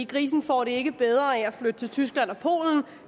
grisen får det ikke bedre af at flytte til tyskland og polen